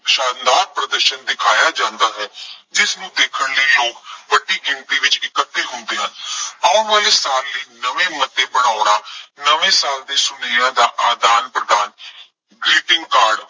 ਸ਼ਾਨਦਾਰ ਪ੍ਰਦਰਸ਼ਨ ਦਿਖਾਇਆਂ ਜਾਂਦਾ ਹੈ। ਜਿਸਨੂੰ ਦੇਖਣ ਲਈ ਲੋਕ ਵੱਡੀ ਗਿਣਤੀ ਵਿੱਚ ਇਕੱਠੇ ਹੁੰਦੇ ਹਨ। ਆਉਣ ਵਾਲੇ ਸਾਲ ਲਈ ਨਵੇਂ ਮੁੱਦੇ ਬਣਾਉਣਾ, ਨਵੇਂ ਸਾਲ ਦੇ ਸੁਨੇਹਿਆਂ ਦਾ ਆਦਾਨ ਪ੍ਰਦਾਨ greeting card